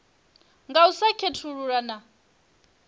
nga u sa khethulula na